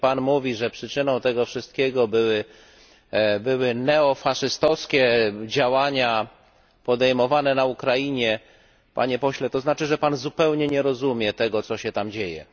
Jeśli Pan mówi, że przyczyną tego wszystkiego były neofaszystowskie działania podejmowane na Ukrainie, Panie Pośle, to znaczy, że Pan zupełnie nie rozumie tego, co się tam dzieje.